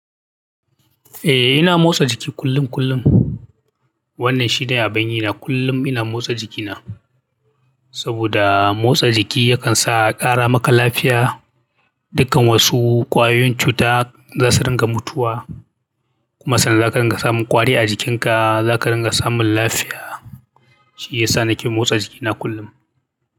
Eh ina motsa jiki kullum kullum. Wannan shi ne abin yina kullum ina motsa jikina. Saboda motsa jiki yakan sa ƙara maka lafiya, dukkan wasu ƙwayoyin cuta za su ringa mutuwa. Kuma sannan za ka ringa samun ƙwari a jikinka, za ka ringa samun lafiya. Shi ya sa nake motsa jikina kullum.